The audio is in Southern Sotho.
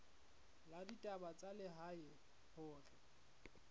la ditaba tsa lehae hore